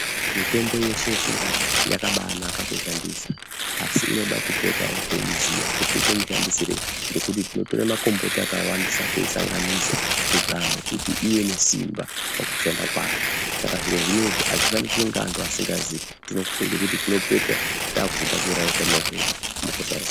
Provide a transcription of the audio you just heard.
Mitombo yeshe yechindau, yakabaanaka kuishandisa. Asi inoda kupotawo teiziya kuti toite mushandisireyi, ngekuti tinotora makomboti akawandisa teisanganisa kuzame kuti iwe nesimba pakushanda kwayo. Saka zviro zvinezvi azvifaniri kuitwa ngeanthu asingazii tinofunga kuti tinopedzisira taakuzoda kuuraya utano hwedu, mukusaziva.